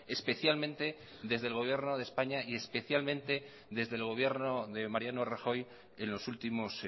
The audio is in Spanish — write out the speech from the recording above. especialmente desde el gobierno de españa y especialmente desde el gobierno de mariano rajoy en los últimos